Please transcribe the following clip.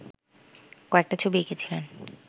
কয়েকটা ছবি এঁকেছিলেন